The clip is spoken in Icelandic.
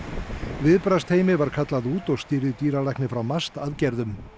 viðbragðsteymi var kallað út og stýrði dýralæknir frá MAST aðgerðum